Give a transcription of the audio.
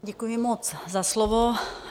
Děkuji moc za slovo.